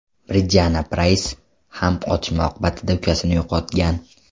Bridjanna Prays ham otishma oqibatida ukasini yo‘qotgan.